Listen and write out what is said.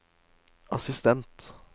assistent